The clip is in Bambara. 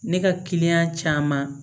Ne ka kiliyan caman